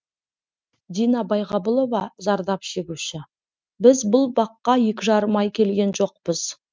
дина байғабылова зардап шегуші біз бұл баққа екі жарым ай келген жоқпыз